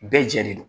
Bɛɛ jɛ de don